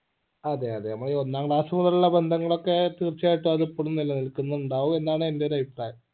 അതെ അതെ നമ്മൾ ഈ ഒന്നാം class മുതലുള്ള ബന്ധങ്ങൾ ഒക്കെ തീർച്ചയായിട്ടു അത് ഇപ്പോഴും നിലനിൽക്കുന്നുണ്ടാകും എന്നാണ് എന്റെ ഒരു അഭിപ്രായം